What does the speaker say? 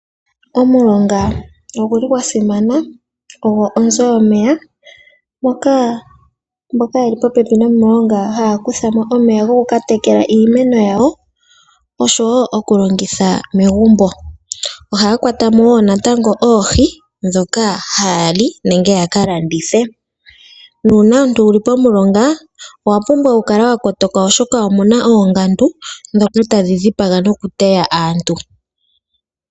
Omulonga ogu li gwa simana, ogwo onzo yomeya. Mboka ye li popepi nomilonga, ohaya kutha mo omeya goku ka tekela iimeno yawo oshowo oku longitha megumbo. Ohaa kwata mo wo natango oohi ndhoka haya li nenge ya ka landithe. Nuuna omuntu wu li pomulonga owa pumbwa okukala wa kotoka oshoka omu na oongandu ndhoka tadhi dhipaga nokuteya aantu.